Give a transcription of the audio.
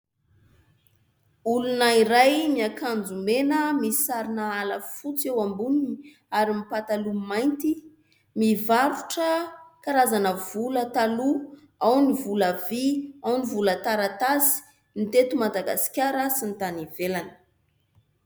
Olona iray niakanjo mena misy sarina ala fotsy eo amboniny ary mipataloha mainty : mivarotra karazana vola taloha, ao ny vola vy, ao ny vola taratasy ny teto Madagasikara sy ny tany ivelany.